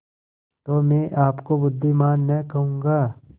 तो मैं आपको बुद्विमान न कहूँगा